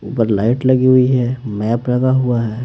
ऊपर लाइट लगी हुई है मैप लगा हुआ है।